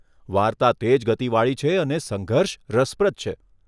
વાર્તા તેજ ગતિવાળી છે અને સંઘર્ષ રસપ્રદ છે.